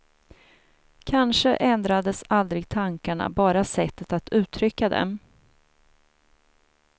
Kanske ändrades aldrig tankarna, bara sättet att uttrycka dem.